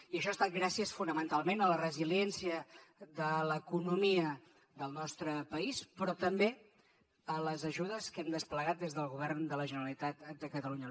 i això ha estat gràcies fonamentalment a la resiliència de l’economia del nostre país però també a les ajudes que hem desplegat des del govern de la generalitat de catalunya